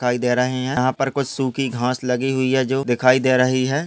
दिखाई दे रहे है यहाँ पर कुछ सुखी घास लगी हुई है जो दिखाई दे रही है।